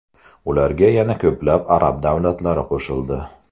Ularga yana ko‘plab arab davlatlari qo‘shildi.